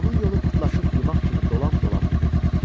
Onun yolu pırtlaşıq yumaq kimi dolam-dolam idi.